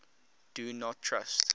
do not trust